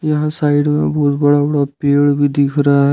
यहां साइड में बहुत बड़ा बड़ा पेड़ भी दिख रहा है।